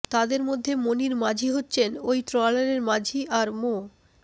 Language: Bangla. তাদের মধ্যে মনির মাঝি হচ্ছেন ওই ট্রলারের মাঝি আর মো